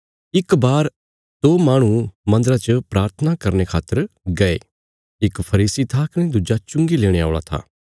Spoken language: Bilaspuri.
भई इक बार दो माहणु मन्दरा च प्राथना करने खातर गये इक फरीसी था कने दुज्जा चुंगी लेणे औल़ा था